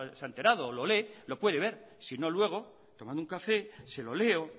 se ha enterado o lo lee lo puede ver si no luego tomando un café se lo leo